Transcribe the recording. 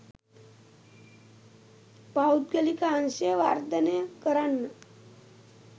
පෞද්ගලික අංශය වර්ධනය කරන්න.